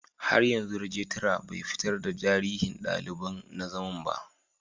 Har yanzu regitra bai fitar da tarihin daliban na zaman ba.